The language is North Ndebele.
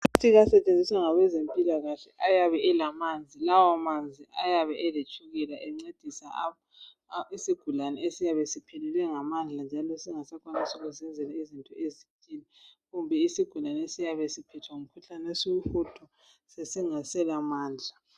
ama plastic asetshenziswa ngabezempilakahle ayabe elamanzi lawa manzi ayabe eletshukela encedisa isigulane esiyabe siphelelwe ngamandla njalo singasakwani ukuzenzela izinto ezithile kumbe isigulane esiyabe siphethwe ngumkhuhlane wesihudo sesingasela mandla